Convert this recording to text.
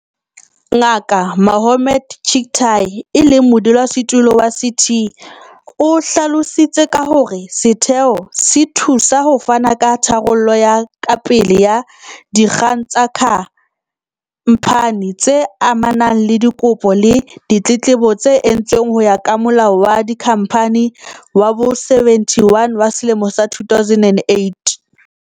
Ngaka Mohammed Chicktay, e leng Modulasetulo wa CT, o hlalositse ka hore setheo se thusa ho fana ka tharollo ya kapele ya dikgang tsa kha mphani, tse amanang le dikopo le ditletlebo tse entsweng ho ya ka Molao wa Dikhamphani wa bo-71 wa selemo sa 2008.